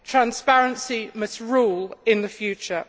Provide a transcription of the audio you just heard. Transparency must rule in the future.